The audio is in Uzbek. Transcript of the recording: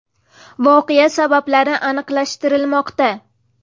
Voqea sabablari aniqlashtirilmoqda.